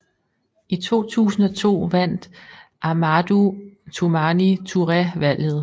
I 2002 vandt Amadou Toumani Touré valget